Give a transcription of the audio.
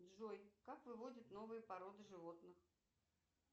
джой как выводят новые породы животных